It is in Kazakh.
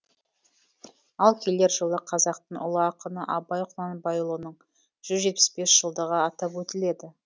ал келер жылы қазақтың ұлы ақыны абай құнанбайұлының жүз жетпіс бес жылдығы атап өтіледі